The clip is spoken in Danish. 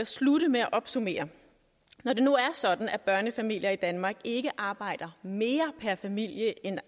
slutte med at opsummere når det nu er sådan at børnefamilier i danmark ikke arbejder mere per familie end